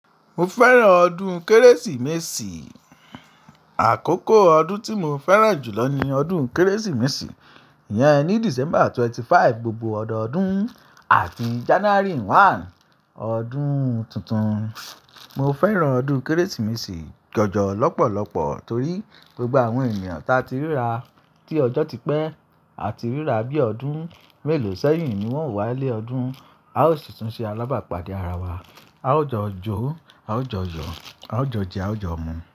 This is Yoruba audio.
Mo fẹ́ràn ọdún Kérésìmesì. Àkókò ọdún tí mo fẹ́ràn jùlọ ni ọdún Kérésìmesì. Iyẹn ni December 25, gbogbo ọ̀dọọdún àti January 1, ọdún tuntun. Mo fẹràn ọdún kérésìmesì jọjọ lọpọlọpọ tori gbogbo awọn èniyàn ta ti rira ti ọjọ ti pe, ati rira bi ọdún melo sẹyìn ni wọn o wale odun a o si tun se alabapade ara wa. A ó jọ jo, a ó jọ yo, a ó jo je, a ó jo mu.